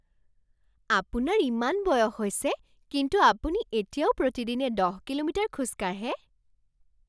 আপোনাৰ ইমান বয়স হৈছে কিন্তু আপুনি এতিয়াও প্ৰতিদিনে দহ কিলোমিটাৰ খোজ কাঢ়ে?